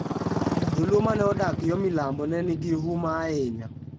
Jo-Luo ma ne odak yo milambo ne nigi huma ahinya.